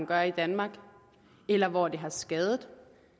gør i danmark eller hvor det har skadet